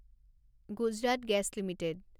Gujarat Gas limited